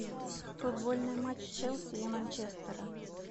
футбольный матч челси и манчестера